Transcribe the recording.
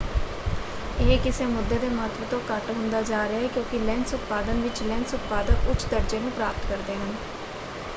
ਇਹ ਕਿਸੇ ਮੁੱਦੇ ਦੇ ਮਹੱਤਵ ਤੋਂ ਘੱਟ ਹੁੰਦਾ ਜਾ ਰਿਹਾ ਹੈ ਕਿਉਂਕਿ ਲੈਂਸ ਉਤਪਾਦਨ ਵਿੱਚ ਲੈਂਸ ਉਤਪਾਦਕ ਉੱਚ ਦਰਜੇ ਨੂੰ ਪ੍ਰਾਪਤ ਕਰਦੇ ਹਨ।